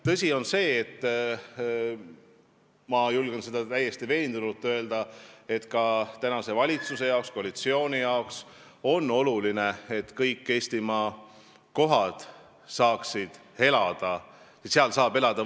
Tõsi on see – ma julgen seda täiesti veendunult öelda –, et praeguse valitsuse ja koalitsiooni jaoks on oluline, et kõikides Eestimaa kohtades saaks võimalikult hästi elada.